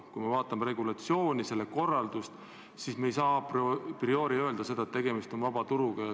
Kui me vaatame selle valdkonna regulatsiooni, selle korraldust, siis me ei saa a priori öelda, et tegemist on vabaturuga.